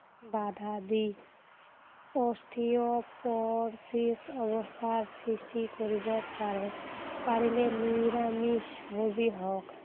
বাধা দি osteoporosis অৱস্থাৰ সৃষ্টি কৰিব পাৰে। পাৰিলে নিৰামিষভোজী হওক।